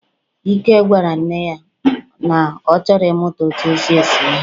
Ike gwara nne ya, na ọ chọrọ ị mụta otú esi ese ihe.